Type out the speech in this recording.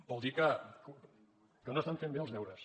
vol dir que no estan fent bé els deures